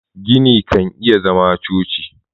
gini kan iya zama choci